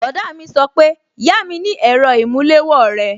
Bọ̀dá mi sọ pé yami ni èrò ìmúléwó rẹ!